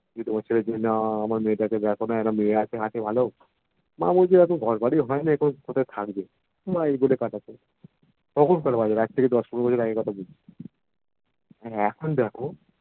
তোমার ছেলের জয়না আমরা মেয়েটাকে দেখোনা একটু একটা মেয়েটা আছে ভালো মা বলছে এখন ঘরবাড়ি হয়নাই কোথায় থাকবে মা এই বলে কাটাতো তখনকার বাজার এক থেকে দশ পনেরো বছর আগের কথা বলছি আর এখন দেখো